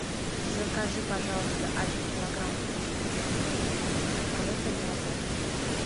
закажи пожалуйста один килограмм пельменей бренда мираторг